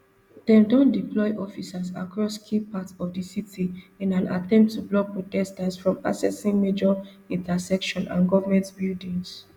dem don deploy officers across key parts of di city in an attempt to block protesters from accessing major intersections and government buildings